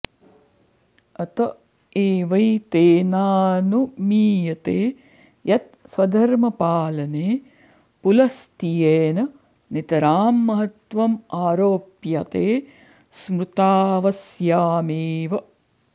अत एवैतेनानुमीयते यत् स्वधर्मपालने पुलस्त्येन नितरां महत्त्वम् आरोप्यते स्मृतावस्यामेव